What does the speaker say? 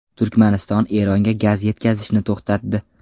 Turkmaniston Eronga gaz yetkazishni to‘xtatdi.